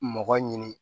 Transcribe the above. Mɔgɔ ɲini